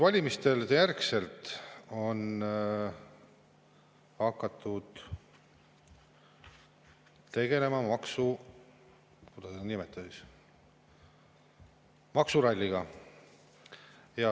Valimiste järel on hakatud tegelema, kuidas seda nimetadagi, maksuralliga.